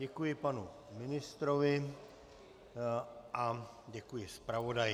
Děkuji panu ministrovi a děkuji zpravodaji.